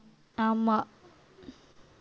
ஆமா